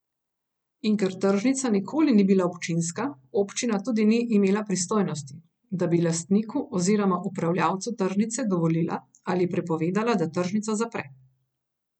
In ker tržnica nikoli ni bila občinska, občina tudi ni imela pristojnosti, da bi lastniku oziroma upravljalcu tržnice dovolila ali prepovedala, da tržnico zapre.